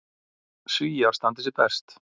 Svíar standi sig best.